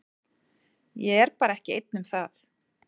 Ég er bara ekki einn um það.